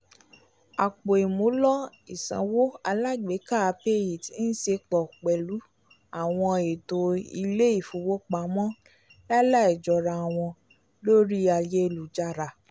àpò ìmúlò isanwo alágbèéká payit ń ṣepọ pẹlu awọn ètò ilè-ifowopamọ lalaijọrawọn lórí ayélujára